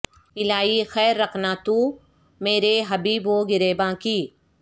الہی خیر رکھنا تو مرے حبیب و گریباں کی